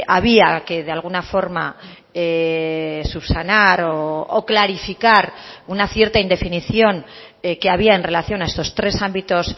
había que de alguna forma subsanar o clarificar una cierta indefinición que había en relación a estos tres ámbitos